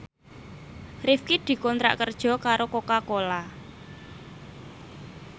Rifqi dikontrak kerja karo Coca Cola